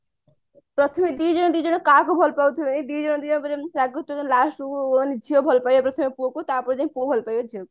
ପ୍ରଥମେ ଦି ଜଣ ଦି ଜଣ କାହାକୁ ଭଲ ପାଉଥିବେ ଦି ଜଣ ଦି ଜଣ ଉପରେ ଏମିତି ରାଗୁଥିବେ last କୁ ଝିଅ ଭଲ ପାଇବ ପ୍ରଥମେ ପୁଅକୁ ତାପରେ ଯାଇ ପୁଅ ଭଲ ପାଇବ ଝିଅକୁ